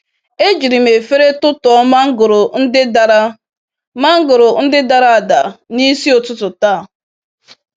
E jiri m efere tụtụọ mangoro ndị dara mangoro ndị dara ada n'isi ụtụtụ taa.